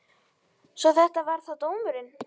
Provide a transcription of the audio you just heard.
Svo þetta var þá dómurinn.